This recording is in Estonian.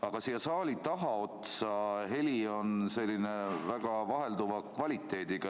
Aga siia saali tagaotsa jõudev heli on väga vahelduva kvaliteediga.